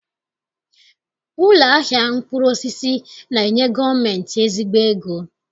Ụlọ ahịa mkpụrụosisi na-enye gọọmentị ezigbo ego